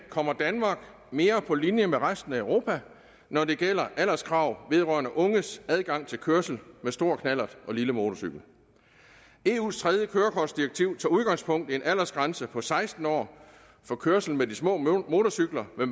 kommer danmark mere på linje med resten af europa når det gælder alderskravet vedrørende unges adgang til kørsel med stor knallert og lille motorcykel eus tredje kørekortdirektiv tager udgangspunkt i en aldersgrænse på seksten år for kørsel med de små motorcykler med